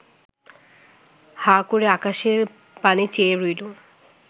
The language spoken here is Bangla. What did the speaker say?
হাঁ করে আকাশের পানে চেয়ে রইল